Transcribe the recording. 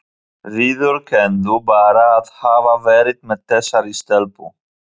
Viðurkenndu bara að hafa verið með þessari stelpu?